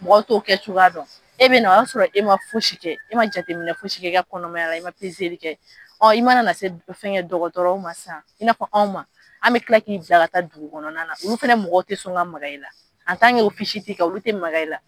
Mɔgɔw to kɛ cogoya dɔn, e bɛna na o y'a sɔrɔ e ma fosikɛ e ma jateminɛ fosi ye i ka kɔnɔmayala i ma kɛ ɔ i mana na se fɛn kɛ dɔgɔtɔrɔw ma sisan i na fɔ anw ma, an bɛ kila k'i bila ka taa dugu kɔnɔna na olu fɛnɛ mɔgɔ tɛ sɔn ka maga i la tɛ i kan olu tɛ maga i la.